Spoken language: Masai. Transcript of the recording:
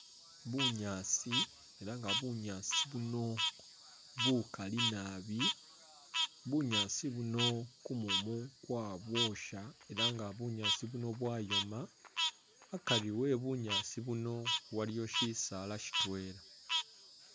Bunyaasi elah nga bunyaasi buno bukaali naabi bunyaasi buno kumumu kwabwosha elah nga bunyaasi buno bwayoma, akari ebunyasi buno waliwo shisala sitwela